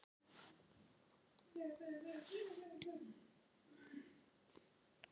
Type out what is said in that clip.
Að auki voru þrjú auka goðorð í Norðlendingafjórðungi sem var stærstur og fjölmennastur á landinu.